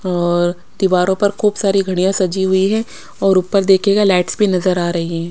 और दीवारों पर खूब सारी घडिया सजी हुई है और उपर देखिएगा लाइट्स भी नजर आ रही है।